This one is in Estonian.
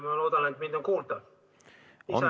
Ma loodan, et mind on kuulda.